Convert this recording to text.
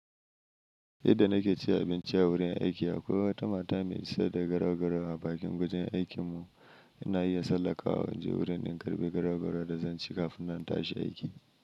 Yadda nake cin abinci a wurin aiki akwai wata mata mai ciyar da garau-garau a bakin gurin aikin mu. Ina iya tsallakawa in je wurin in karbi garau-garau da zan ci kafin na tashi aiki.